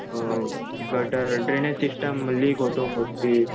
अ gutter drainage system leak होतो mostly